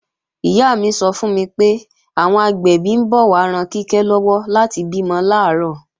Ìyá mi sọ fún mi pé, àwọn agbẹ̀bí ń bọ̀ wá ran Kíkẹ́ lọ́wọ́ láti bímọ làárọ̀